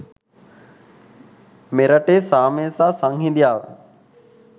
මෙරටේ සාමය සහ සංහිඳියාව